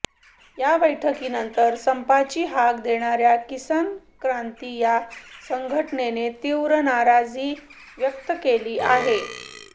या बैठकीनंतर संपाची हाक देणाऱ्या किसान क्रांती या संघटनेने तीव्र नाराजी व्यक्त केली आहे